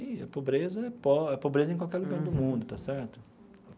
E a pobreza é po é pobreza em qualquer lugar do mundo, está certo?